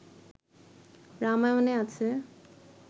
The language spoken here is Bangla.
রামায়ণে আছে